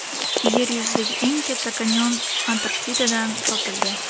Yer yuzidagi eng katta kanyon Antarktidadan topildi.